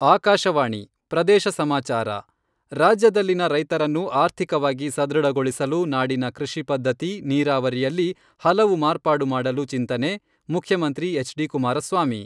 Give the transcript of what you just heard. ಆಕಾಶವಾಣಿ ಪ್ರದೇಶ ಸಮಾಚಾರ, ರಾಜ್ಯದಲ್ಲಿನ ರೈತರನ್ನು ಆರ್ಥಿಕವಾಗಿ ಸದೃಢಗೊಳಿಸಲು ನಾಡಿನ ಕೃಷಿ ಪದ್ಧತಿ, ನೀರಾವರಿಯಲ್ಲಿ ಹಲವು ಮಾರ್ಪಾಡು ಮಾಡಲು ಚಿಂತನೆ, ಮುಖ್ಯಮಂತ್ರಿ ಎಚ್ ಡಿ ಕುಮಾರಸ್ವಾಮಿ.